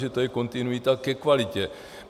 Že to je kontinuita ke kvalitě.